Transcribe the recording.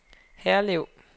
Herlev